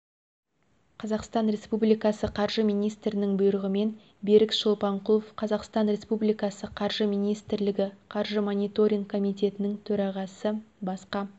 қазақстан республикасы қаржы министрінің бұйрығымен берік шолпанкұлов қазақстан республикасы қаржы министрлігі қаржы мониторинг қомитетінің төрағасы басқа